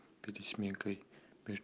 пяти семейкой пиш